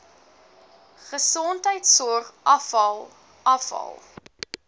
gesondheidsorg afval afval